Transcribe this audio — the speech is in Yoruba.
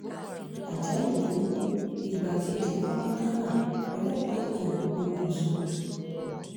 àjálù burúkú igbákejì kọ́míkànnà ọlọ́pàá èkó pokùṣọ̀